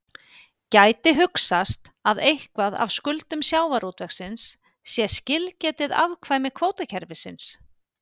Gæti hugsast að eitthvað af skuldum sjávarútvegsins sé skilgetið afkvæmi kvótakerfisins?